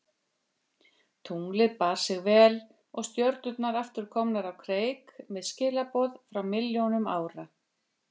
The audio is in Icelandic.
Tunglið bar sig vel og stjörnurnar aftur komnar á kreik með skilaboð frá milljónum ára.